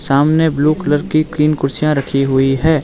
सामने blue colour की तीन कुर्सियां रखी हुई है।